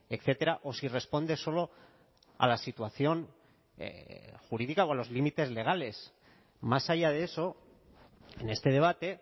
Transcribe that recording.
etcétera o si responde solo a la situación jurídica con los límites legales más allá de eso en este debate